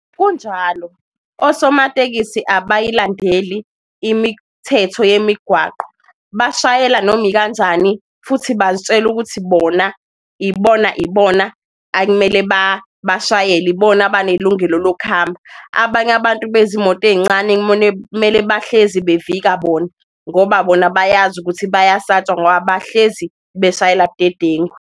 Kunjalo osomatekisi abayilandeli imithetho yemigwaqo, bashayela noma ikanjani futhi bazitshela ukuthi bona ibona ibona akumele bashayele, ibona banelungelo lokuhamba. Abanye abantu bezimoto eyincane kumele bahlezi bevikela bona, ngoba bona bayazi ukuthi bayasatshwa ngoba bahlezi beshayela budedengu.